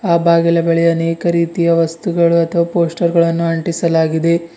ಆ ಬಾಗಿಲ ಬಳಿ ಅನೇಕ ರೀತಿಯ ವಸ್ತುಗಳು ಅಥವಾ ಪೋಸ್ಟರ್ ಗಳನ್ನು ಅಂಟಿಸಲಾಗಿದೆ.